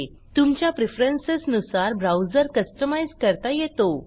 तुमच्या प्रेफरन्स नुसार browser customise करता येतो